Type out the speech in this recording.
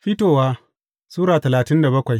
Fitowa Sura talatin da bakwai